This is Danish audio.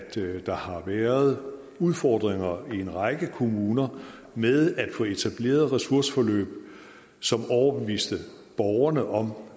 der har været udfordringer i en række kommuner med at få etableret ressourceforløb som overbeviste borgerne om